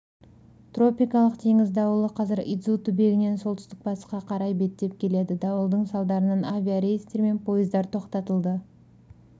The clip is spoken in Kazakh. тропикалық теңіз дауылы қазір идзу түбегінен солтүстік-батысқа қарай беттеп келеді дауылдың салдарынан авиарейстер мен пойыздар тоқтатылды